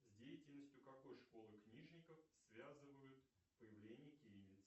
с деятельностью какой школы книжников связывают появление кириллицы